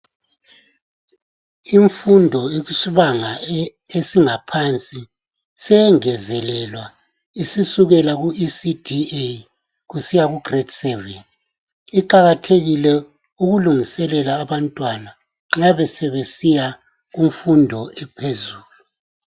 Imfundo yesibanga esingaphansi seyengezelelwa isisukela kuECD A kusiya ku grade 7.Iqakathekile ukulungiselela abantwana nxa besebesiya kumfundo ephezulu.